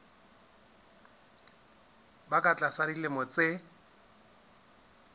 ba ka tlasa dilemo tse